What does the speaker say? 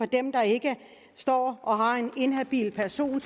dem der ikke står og har en inhabil person